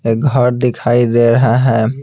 एक घर दिखाई दे रहे है।